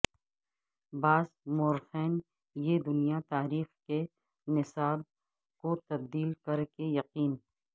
بعض مورخین یہ دنیا تاریخ کے نصاب کو تبدیل کر کہ یقین